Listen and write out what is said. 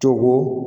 Cogo